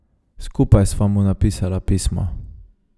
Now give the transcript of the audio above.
Skupaj sva mu napisala pismo.